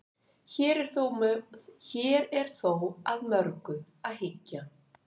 hér er þó að mörgu að hyggja